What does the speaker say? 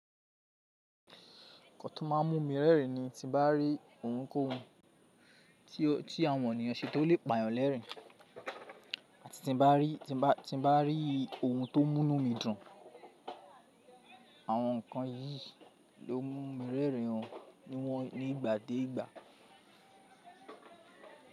Nǹkan tó má a mú mi rẹ́rìn ni tí mo bá rí ohunkohun ti àwọn ènìyàn ṣe tó lè pa eeyan lerin àti tí nbá rí ohun tó mú nú mi dùn. Àwọn nǹkan yìí ló n mú mi rẹ́rìn o ní ìgbà dé ìgbà.